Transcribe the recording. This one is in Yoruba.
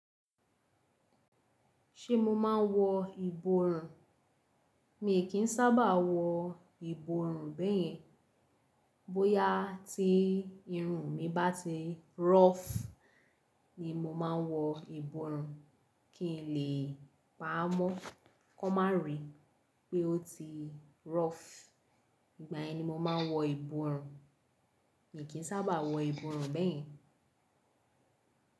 Ṣé mo máa ń wọ ìborùn? Mi kì í sábà wọ ìborùn bẹ́ẹ̀ yẹn. Bóyá tí irun mi bá ti rofu ni mo ma ń wọ ìborùn, kí n lè pa á mọ́, kó má ríi pé ó ti rọ́fù. Ìgbà yẹn ni mo máa ń wọ ìborùn. Mi kì í sábà wọ ìborùn bẹ́ẹ̀ yẹn.